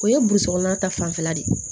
O ye burusikɔnɔ ta fanfɛla de ye